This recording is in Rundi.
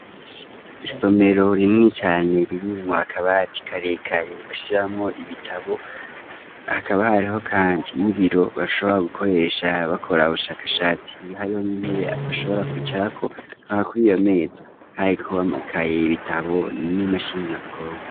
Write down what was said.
Isomero rinini cane ririmwo akabati karekare bashiramwo ibitabo, hakabahariho kandi n'ibiro bashobora gukoresha bakora ubushakashatsi hariyo n'intebe bashobora kwicarako hama kw'iyo meza hariko amakaye, ibitabo n'imashini nyabwonko.